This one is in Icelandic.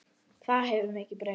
Það hefur mikið breyst.